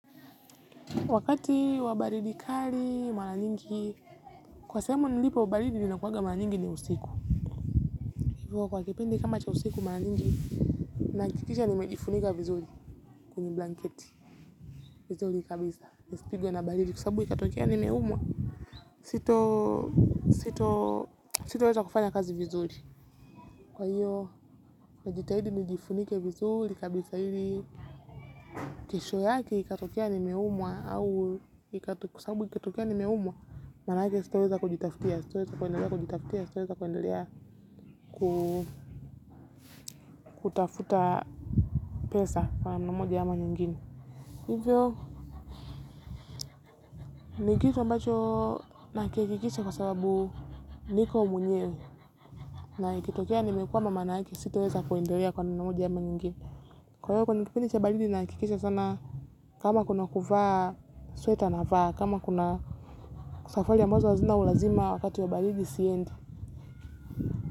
Wakati wa baridi kali, mara nyingi, kwa sehemu nilipo baridi inakuwaga mara nyingi ni usiku. Hivyo kwa kipindi kama cha usiku mara nyingi, nahakikisha nimejifunika vizuri, kwenye blanketi vizuri kabisa, nisipigwe na baridi kwa sababu ikatokea nimeumwa sita, sita weza kufanya kazi vizuri. Kwa hiyo, najitahidi nijifunike vizuri kabisa ili kesho yake ikatokea nimeumwa, kwa sababu ikatokea nimeumwa manake sita weza kujitafutia, sita weza kutafuta pesa nikitu ambacho nahakikisha kwa sababu niko mwenyewe na ikitokea nimekwama maana sitaweza kuendelea kwa njia moja au nyingine kwa hivyo kwenye kipindi cha baridi nahakikisha sana kama kuna kuvaa sweta navaa, kama kuna safari ambazo hazina ulazima wakati wa baridi siendi.